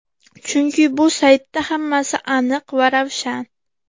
Chunki bu saytda hammasi aniq va ravshan.